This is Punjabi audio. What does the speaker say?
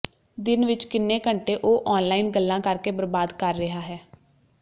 ਦਿਨ ਵਿੱਚ ਕਿੰਨੇ ਘੰਟੇ ਉਹ ਔਨਲਾਈਨ ਗੱਲਾਂ ਕਰਕੇ ਬਰਬਾਦ ਕਰ ਰਿਹਾ ਹੈ